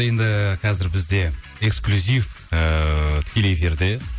енді қазір бізде эксклюзив ыыы тікелей эфирде